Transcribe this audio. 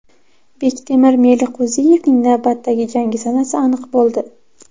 Bektemir Meliqo‘ziyevning navbatdagi jangi sanasi aniq bo‘ldi.